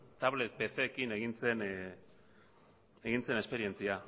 tablet pckin egin zen esperientzia